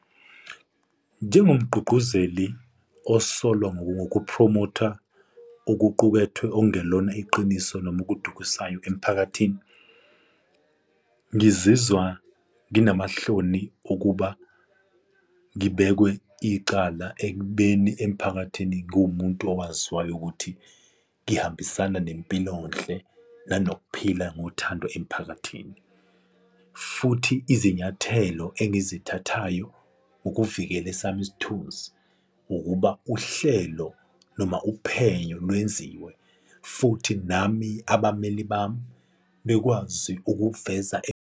Njengomgqugquzeli osolwa ngokokuphromotha okuqukethwe okungelona iqiniso noma okudukisayo emiphakathini. Ngizizwa nginamahloni ukuba ngibekwe icala ekubeni emiphakathini ngiwumuntu owaziwayo ukuthi ngihambisana nempilonhle, nanokuphika ngothando emiphakathini. Futhi izinyathelo engizithathayo ukuvikela esami isithunzi ukuba uhlelo noma uphenyo lwenziwe, futhi nami abameli bami bekwazi ukuveza.